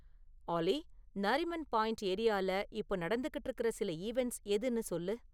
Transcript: ஆலி நாரிமன் பாயின்ட் ஏரியால இப்போ நடந்துக்கிட்டு இருக்குற சில ஈவென்ட்ஸ் எதுன்னு சொல்லு